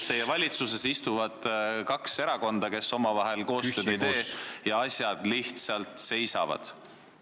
... teie valitsuses istuvad kaks erakonda, kes omavahel koostööd ei tee, ja asjad lihtsalt seisavad.